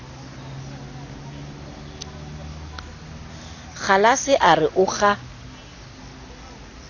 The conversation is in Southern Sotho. kgalase a re o kga